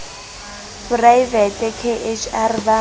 poraevete k h r ba